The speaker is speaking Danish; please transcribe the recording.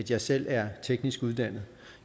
jeg selv er teknisk uddannet